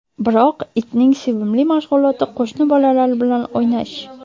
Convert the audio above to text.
Biroq itning sevimli mashg‘uloti qo‘shni bolalar bilan o‘ynash.